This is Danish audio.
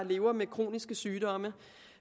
lever med kroniske sygdomme